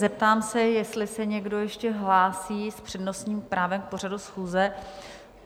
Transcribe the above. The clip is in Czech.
Zeptám se, jestli se někdo ještě hlásí s přednostním právem k pořadu schůze.